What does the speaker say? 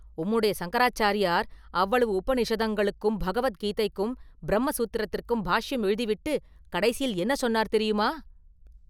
உம்முடைய சங்கராச்சாரியார் அவ்வளவு உபநிஷதங்களுக்கும் பகவத்கீதைக்கும் பிரம்ம சூத்திரத்துக்கும் பாஷ்யம் எழுதி விட்டு கடைசியில் என்ன சொன்னார் தெரியுமா?